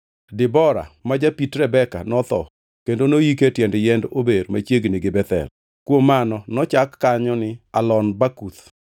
Debora, ma japit Rebeka notho kendo noyike e tiend yiend ober machiegni gi Bethel. Kuom mano nochak kanyo ni Allon Bakuth.